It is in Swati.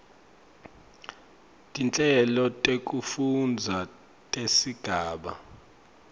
tinhlelo tekufundza tesigaba